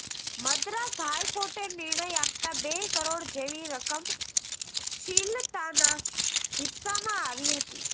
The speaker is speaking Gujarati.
મદ્રાસ હાઇકોર્ટે નિર્ણય આપતા બે કરોડ જેવી રકમ શ્રીલતાના હિસ્સામાં આવી હતી